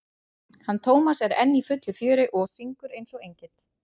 hann Tómas er enn í fullu fjöri og syngur eins og engill.